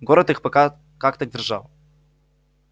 город их пока как-то держал